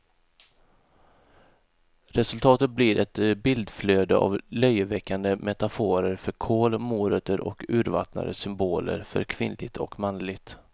Resultatet blir ett bildflöde av löjeväckande metaforer för kål, morötter och urvattnade symboler för kvinnligt och manligt.